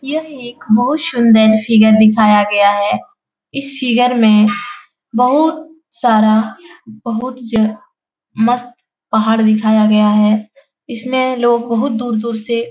यह एक बहुत शुंदर फिगर दिखाया गया है इस फिगर में बहुत सारा बहुत ज मस्त पहाड़ दिखाया गया है इसमें लोग बहुत दूर-दूर से --